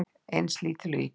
Eins lítil og ég get.